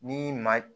Ni maa